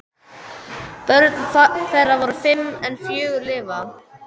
Börn þeirra voru fimm en fjögur lifa.